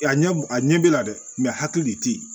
A ɲɛ a ɲɛ b'i la dɛ hakili de tɛ yen